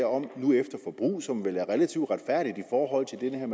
om nu efter forbrug noget som vel er relativt retfærdigt i forhold